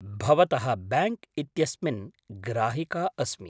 भवतः बैङ्क् इत्यस्मिन् ग्राहिका अस्मि।